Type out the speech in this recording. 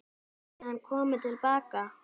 Gæti hann komið til baka?